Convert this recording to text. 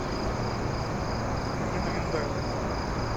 мне на миндальном